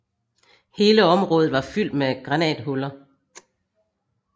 Hele området var fyldt med granathuller